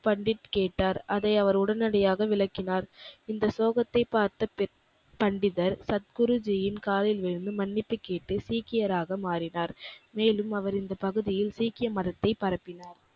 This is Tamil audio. பண்டித் கேட்டார். அதை அவர் உடனடியாக விளக்கினார். இந்த ஸ்லோகத்தைப் பார்த்த பண்டிதர் சத்குருஜியின் காலில் விழுந்து மன்னிப்பு கேட்டு சீக்கியராக மாறினார். மேலும் அவர் இந்தப் பகுதியில் சீக்கிய மதத்தைப் பரப்பினார்.